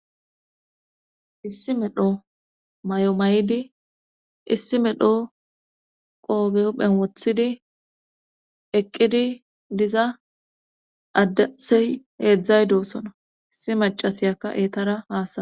Issi medho mayo mayidi issi medho qoobe huphen wothidi eqqidi diza addey eeqqidi doosona. Issi macasiyakka eetara haasayana.